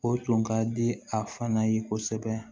O tun ka di a fana ye kosɛbɛ